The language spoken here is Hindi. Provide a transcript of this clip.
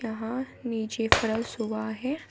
यहां नीचे फरश हुआ है।